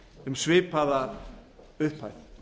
um svipaða upphæð